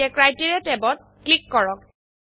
এতিয়া ক্ৰাইটেৰিয়া ট্যাবত ক্লিক কৰক